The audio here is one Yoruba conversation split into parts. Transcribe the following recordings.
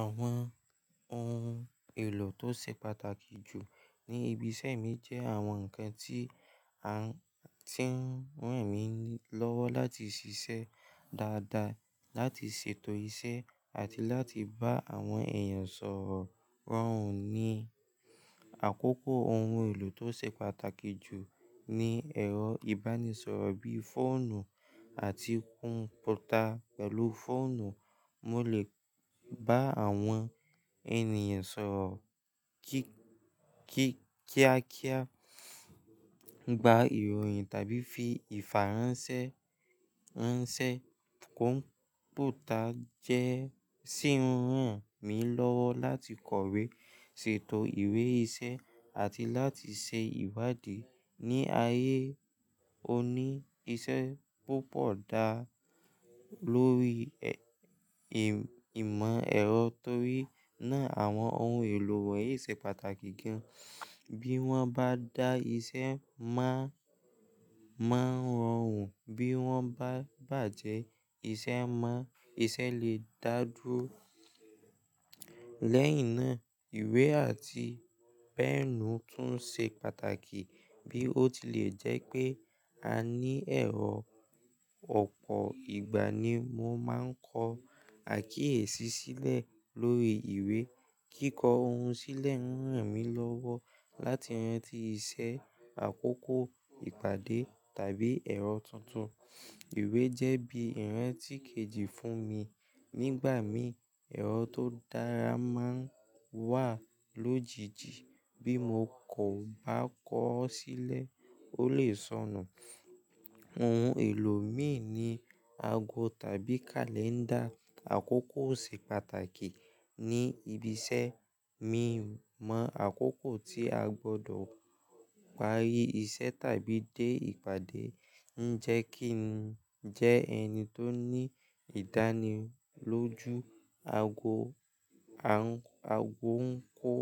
Àwọn ohun èlò tó ṣe pàtàkì jù ní ibi iṣẹ́ mi jẹ́ àwọn nǹkan tí à ń, tí ń ràn mí lọ́wọ́ láti ṣiṣẹ́ dáadáa, láti ṣètò iṣẹ́ àti láti bá àwọn èèyàn sọ̀rọ̀ rọrùn. Ni àkókò ohun èlò tó ṣe pàtàkì jù ni ẹ̀rọ ìbánisọ̀rọ̀ bíí fóònù àti kọ̀m̀pútà. Pẹ̀lú fóònù, mo lè bá àwọn ènìyàn sọ̀rọ̀ kí-kí-kíákíá, gba ìròyìn tàbí fi ìfàránṣẹ́ ránṣẹ́. Kọ̀m̀pútà jẹ́ ṣí ń ràn mí lọ́wọ́ láti kọ̀wé, ṣètò ìwé iṣẹ́ àti láti ṣe ìbádé. Ni ayé òní, iṣẹ́ púpọ̀ dá lórí ẹ̀-ìm-ìmọ̀ ẹ̀rọ, torí náà àwọn ohun èlò wọ̀nyí ṣe pàtàkì gan. Bí wọ́n bá dá iṣẹ́ mọ́, máa ń rọrùn, bí wọ́n bá bàjẹ́, iṣẹ́ máa, iṣẹ́ lè dà dúró. Lẹ́yìn náà, ìwé àti pẹ́ẹ̀nù tún ṣe pàtàkì bí ó tilẹ̀ jẹ́ pé a ní ẹ̀rọ ọ̀pọ̀ ìgbà ni mo máa ń kọ àkíyèsí sílẹ̀ lórí ìwé. Kíkọ ohun sílẹ̀ ń ràn mí lọ́wọ́ láti rantì iṣẹ́, àkókò, ìpàdé tàbí ẹ̀rọ tuntun. Ìwé jẹ́ bí ìrántí kejì fún mi nígbà mí ẹ̀rọ tó dára máa ń wà lójijì. Bí mo kò bá kọ ọ́ sílẹ̀, ó lè sọnù. Ohun èlò mìí ni ago tàbí kàlẹ́ńdà. Àkókò ṣe pàtàkì ní ibi iṣẹ́. Mi mọ̀ àkókò tí a gbọdọ̀ parí iṣẹ́ tàbí dé ìpàdé ń jẹ́ kí n jẹ́ ẹni tó ní ìdánilójú. Ago, a-ago ń kó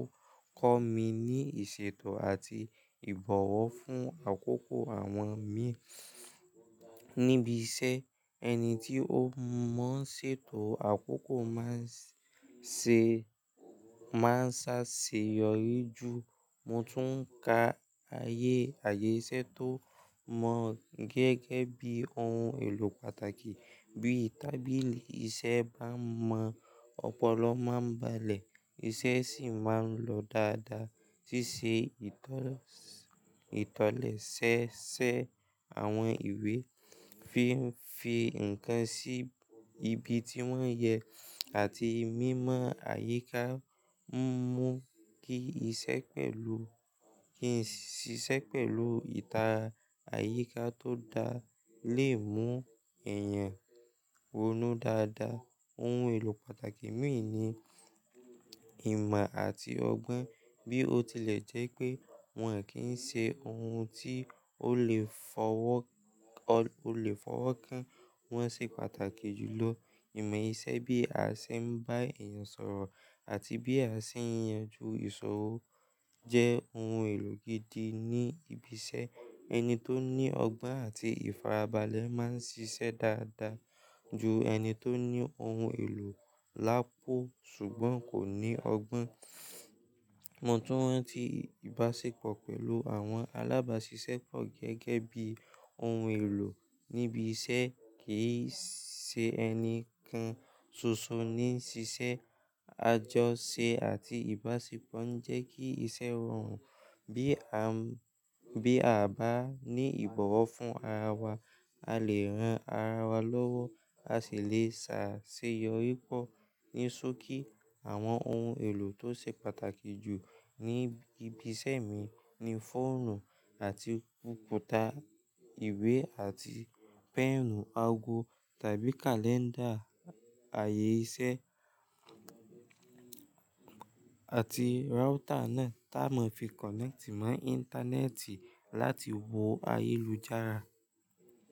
kọ́ mi ní ìṣètò àti ìbọ̀wọ̀ fún àkókò àwọn mi níbi iṣẹ́. Ẹni tí ó mọ̀ ń ṣètò àkókò máa ṣè, máa ń ṣàṣeyọrí ju. Mo tún ka ayé, ayé iṣẹ́ tó mọ́ gẹ́gẹ́ bí ohun èlò pàtàkì. Bí tàbílí ìṣẹ́ bá mọ̀, ọpọlọ máa ń balẹ̀, iṣẹ́ sì máa ń lọ dáadáa. Sísè ìtọ̀-ìtọ̀lẹ̀ṣẹ́ ṣẹ́ àwọn ìwé, fi n fi nǹkan sí ibi tí wọ́n yẹ àti mímọ̀ àyíká ń mú kí iṣẹ́ pẹ̀lú, kí iṣẹ́ pẹ̀lú ìta àyíká tó dáa lè mú èèyàn ronú dáadáa. Ohun èlò pàtàkì mìíràn ni ìmọ̀ àti ọgbọ́n. Bí ó tilẹ̀ jẹ́ pé wọ́n kì í ṣe ohun tí ó lè fọwọ́ ọ, ó lè fọwọ́ kán, wọ́n ṣe pàtàkì jù lọ. Ìmọ̀ iṣẹ́ bí a ṣe ń bá èèyàn sọ̀rọ̀ àti bí a ṣe ń yanjú ìsọrọ̀ jẹ́ ohun èlò gidi ní ibi iṣẹ́. Ẹni tó ní ọgbọ́n àti ìfarabalẹ̀ máa ń ṣiṣẹ́ dáadáa ju ẹni tó ní ohun èlò lápò ṣùgbọ́n kò ní ọgbọ́n. Mo tún rántí ìbáṣepọ̀ pẹ̀lú àwọn alábáṣiṣẹ́pọ̀ gẹ́gẹ́ bí ohun èlò níbi iṣẹ́. Kì í ṣe ẹni kan ṣoṣo ní ṣiṣẹ́. Àjọṣe àti ìbáṣepọ̀ ń jẹ́ kí iṣẹ́ rọrùn. Bí a, bí a bá ní ìbọ̀wọ̀ fún ara wa, a lè ran ara wa lọ́wọ́, a sì lè ṣàṣeyọrí pọ̀. Ní ṣókí, àwọn ohun èlò tó ṣe pàtàkì jù ní ibi iṣẹ́ mi ni fóònù àti kọ̀m̀pútà, ìwé àti pẹ́ẹ̀nù, ago tàbí kàlẹ́ńdà, àyè iṣẹ́ àti router náà tá mo fi connect mọ́ íńtánẹ́ẹ̀tì láti wo ayélujára.